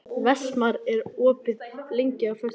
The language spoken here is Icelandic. Vestmar, hvað er opið lengi á föstudaginn?